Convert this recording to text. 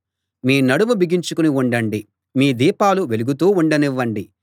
మీ నడుము బిగించుకుని ఉండండి మీ దీపాలు వెలుగుతూ ఉండనివ్వండి